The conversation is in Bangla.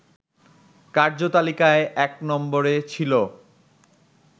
কার্যতালিকায় ১ নম্বরে ছিল